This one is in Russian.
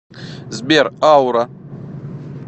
сбер аура